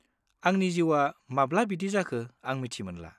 आंनि जिउआ माब्ला बिदि जाखो आं मिथि मोनला।